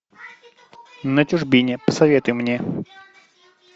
на чужбине посоветуй мне